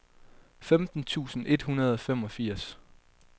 femten tusind et hundrede og femogfirs